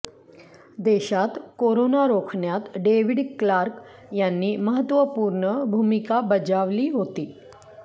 देशात कोरोना रोखण्यात David Clarke यांनी महत्त्वपूर्ण भूमिका बजावली होती